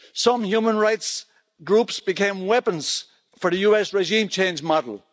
Some human rights groups became weapons for the US regime change model.